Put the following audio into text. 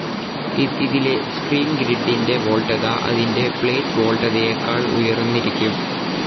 ഇതിലെ സ്ക്രീൻ ഗ്രിഡ്ഡിന്റെ വോൾട്ടേജ്‌ അതിന്റെ പ്ലേറ്റ്‌ വോൾട്ടതയെക്കാൾ ഉയർന്നിരിക്കും.